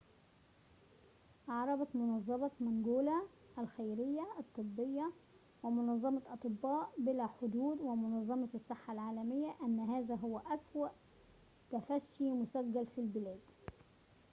أعربت منظمة مانجولا الخيرية الطبية ومنظمة أطباء بلا حدود ومنظمة الصحة العالمية إن هذا هو أسوأ تفشٍ مسجل في البلاد